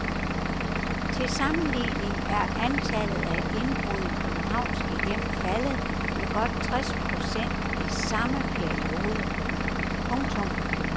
Til sammenligning er antallet af indbrud i københavnske hjem faldet med godt tres procent i samme periode. punktum